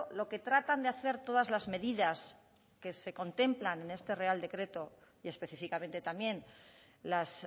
lo que tratan de hacer todas las medidas que se contemplan en este real decreto y específicamente también las